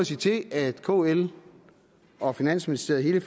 sige til at kl og finansministeriet i